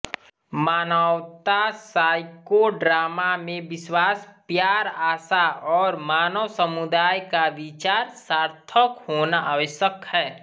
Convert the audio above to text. मानवतावादी साइकोड्रामा में विश्वास प्यारआशा और मानव समुदाय का विचार सार्थक होना आवश्यक है